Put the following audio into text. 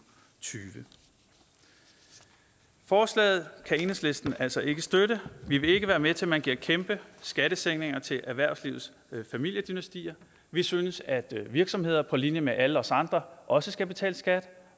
tyve forslaget kan enhedslisten altså ikke støtte vi vil ikke være med til at man giver kæmpe skattesænkninger til erhvervslivets familiedynastier vi synes at virksomheder på linje med alle os andre også skal betale skat og